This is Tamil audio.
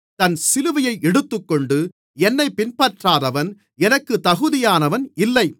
தன் சிலுவையை எடுத்துக்கொண்டு என்னைப் பின்பற்றாதவன் எனக்கு தகுதியானவன் இல்லை